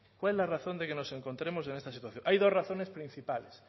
cuál es la razón de que nos encontremos en esta situación hay dos razones principales